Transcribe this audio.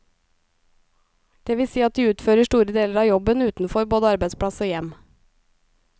Det vil si at de utfører store deler av jobben utenfor både arbeidsplass og hjem.